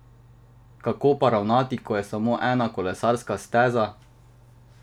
Kako pa ravnati, ko je samo ena kolesarska steza?